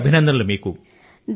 మళ్ళీ అభినందనలు